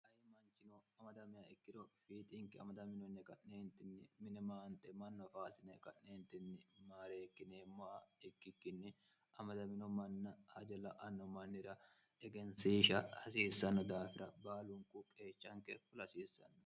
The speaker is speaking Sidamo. ayi manchino amadamiya ikkiro fiitinke amadaminonni aqa'neentinni minimaante mannoafaasine qa'neentinni maareekkineemmoa ikkikkinni amadamino manna ajalla'anno mannira egensiisha hasiissanno daafira baalunqu qeechanke fulhasiissanno